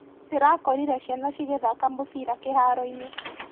Ndĩrakorire ciana cigĩthaka mũbira kĩharoinĩ.